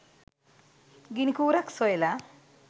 ගිනිකූරක් සොයලා